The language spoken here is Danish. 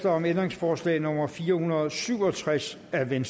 om ændringsforslag nummer fire hundrede og syv og tres af v